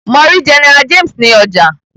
Mọ rí General James ní ọjà.